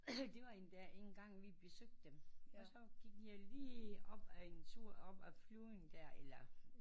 Det var endda engang vi besøgte dem og så gik vi lige op ad en tur op af Flyving der